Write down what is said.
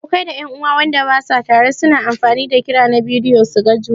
Abokai da en'uwa Wanda basu tare su na amfani da kira na bidiyo su gan juna.